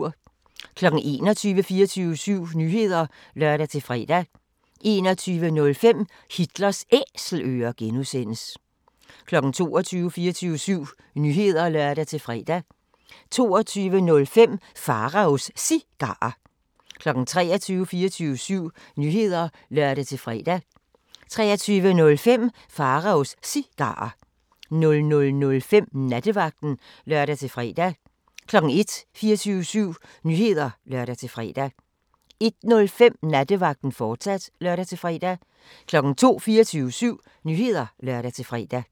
21:00: 24syv Nyheder (lør-fre) 21:05: Hitlers Æselører (G) 22:00: 24syv Nyheder (lør-fre) 22:05: Pharaos Cigarer 23:00: 24syv Nyheder (lør-fre) 23:05: Pharaos Cigarer 00:05: Nattevagten (lør-fre) 01:00: 24syv Nyheder (lør-fre) 01:05: Nattevagten, fortsat (lør-fre) 02:00: 24syv Nyheder (lør-fre)